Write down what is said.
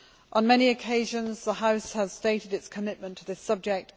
On many occasions, the House has stated its commitment to this subject.